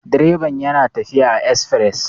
direban yana tafiya a esfires